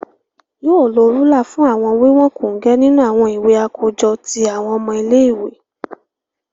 Yoo lo rúlà fún awọn wiwọn kongẹ nínú awọn ìwé akojọ ti awọn ọmọ ile-iwe.